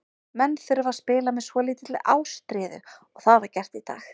Menn þurfa að spila með svolítilli ástríðu og það var gert í dag.